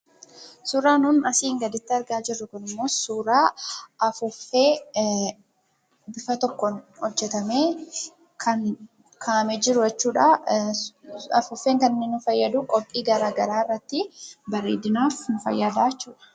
Suuraa nuun asiin gaditti argaa jiru kun immoo, suuraa afuffee bifa tokkoon hojeetame kan ka'ame jiruu jechuudha. Afufeen kan inni nuu faayaduu qophii gara garaa irratti bareedinaaf nuu faayadaa jechuudha.